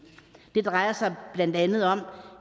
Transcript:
det drejer sig blandt andet om